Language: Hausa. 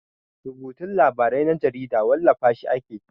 Rubutun labarai na jarida wallafa shi ake.